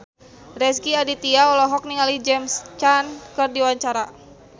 Rezky Aditya olohok ningali James Caan keur diwawancara